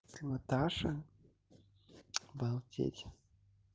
ты наташа обалдеть